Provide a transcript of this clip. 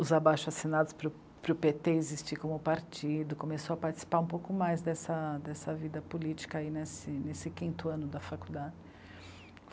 os abaixo-assinados para o, para o pê tê existir como partido, começou a participar um pouco mais dessa, dessa vida política nesse, nesse quinto ano da faculdade.